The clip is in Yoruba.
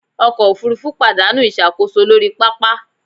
Ọkọ̀ òfurufú pàdánù ìṣàkóso lórí pápá